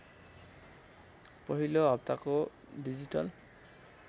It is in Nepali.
पहिलो हप्ताको डिजिटल